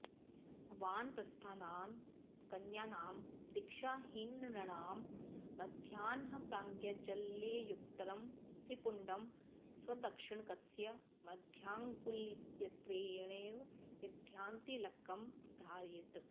वानप्रस्थानां कन्यानां दीक्षाहीननृणां मध्यान्हप्राग्जलैर्युक्तं त्रिपुण्डं स्वदक्षिणकस्य मध्याङ्गुलित्रयेणैव विद्वान्तिलकं धारयेत्